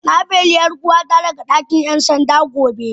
Na beli 'yar uwata daga dakin 'yan sanda gobe.